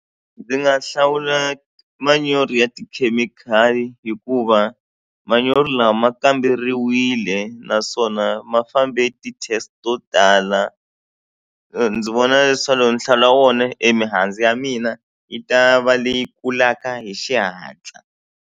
Ndzi nga hlawula manyoro ya tikhemikhali hikuva manyoro lawa ma kamberiwile naswona ma fambe ti-test to tala ndzi vona leswaku loko ni hlawula wona e mihandzu ya mina yi ta va leyi kulaka hi xihatla.